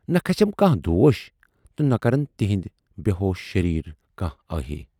نہٕ کھسٮ۪م کانہہ دوٗش تہٕ نہٕ کرن تِہٕندۍ بیہوش شریٖر کانہہ ٲہی۔